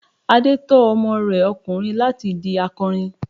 Adé tọ́ ọmọ rẹ ọkùnrin láti di akọrin.